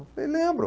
Eu falei, lembro.